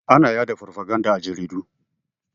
Ana ya da farfaganda a jaridu.